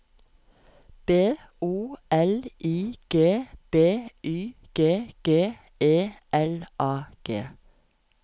B O L I G B Y G G E L A G